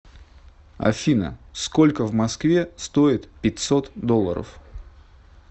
афина сколько в москве стоит пятьсот долларов